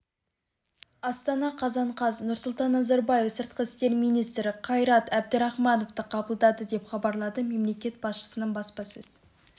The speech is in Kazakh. астана қазан қаз нұрсұлтан назарбаев сыртқы істер министрі қайрат әбдірахмановты қабылдады деп хабарлады мемлекет басшысының баспасөз